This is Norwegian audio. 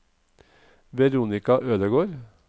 Veronica Ødegård